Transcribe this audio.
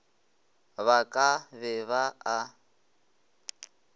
ba ka be ba a